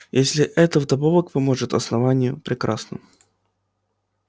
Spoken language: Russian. если это вдобавок поможет основанию прекрасно